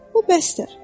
Bu bəsdir.